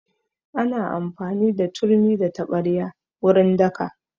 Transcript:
Ana amfani da turmi da taɓarya wurin daka